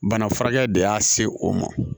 Bana furakɛ de y'a se o ma